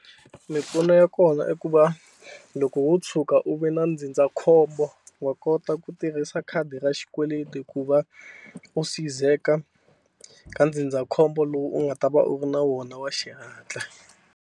Mimpfuno ya kona i ku va loko wo tshuka u ve na ndzindzakhombo wa kota ku tirhisa khadi ra xikweleti ku va u sizeka ka ndzindzakhombo lowu u nga ta va u ri na wona wa xihatla.